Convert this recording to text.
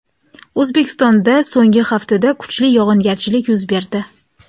O‘zbekistonda so‘nggi haftada kuchli yog‘ingarchilik yuz berdi.